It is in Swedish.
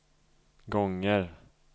gånger